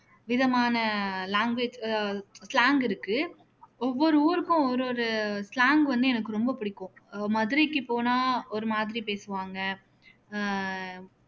விதமான language அஹ் slang இருக்கு ஒவ்வொரு ஊருக்கும் ஒரு ஒரு slang வந்து எனக்கு ரொம்ப பிடிக்கும் அஹ் மதுரைக்கு போனா ஒரு மாதிரி பேசுவாங்க அஹ்